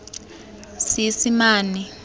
seesimane